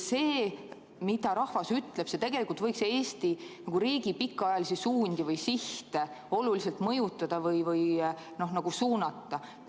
See, mida rahvas ütleb, võiks tegelikult Eesti riigi pikaajalisi suundi või sihte oluliselt mõjutada või suunata.